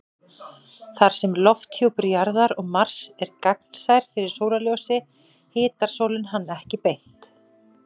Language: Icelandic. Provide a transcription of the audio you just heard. Þar sem lofthjúpur Jarðar og Mars er gagnsær fyrir sólarljósi hitar sólin hann ekki beint.